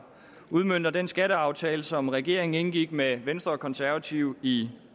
udmønter den skatteaftale som regeringen indgik med venstre og konservative i